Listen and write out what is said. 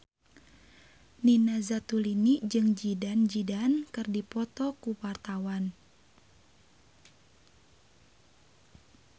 Nina Zatulini jeung Zidane Zidane keur dipoto ku wartawan